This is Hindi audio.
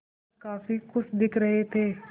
वह काफ़ी खुश दिख रहे थे